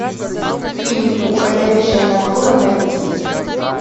фильм уходящая натура найти